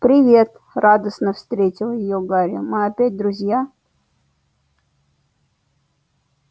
привет радостно встретил её гарри мы опять друзья